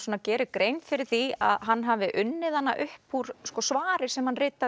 gerir grein fyrir því að hann hafi unnið hana upp úr svari sem hann ritaði